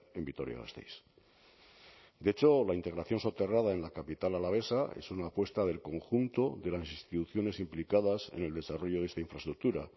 en vitoria gasteiz de hecho la integración soterrada en la capital alavesa es una apuesta del conjunto de las instituciones implicadas en el desarrollo de esta infraestructura